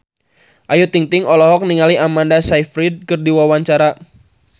Ayu Ting-ting olohok ningali Amanda Sayfried keur diwawancara